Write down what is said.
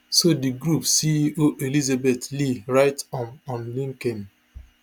so di group ceo elizabeth lee write um on linkedin